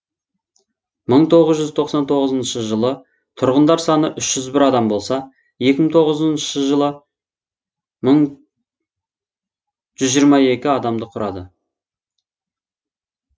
мың тоғыз жүз тоқсан тоғызыншы жылы тұрғындар саны үш жүз бір адам болса екі мың тоғызыншы жылы жүз жиырма екі адамды құрады